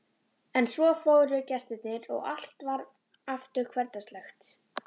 En svo fóru gestirnir og allt varð aftur hversdagslegt.